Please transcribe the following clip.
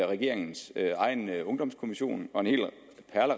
regeringens egen ungdomskommission